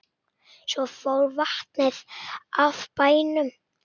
Svo fór vatnið af bænum.